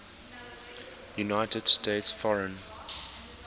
united states foreign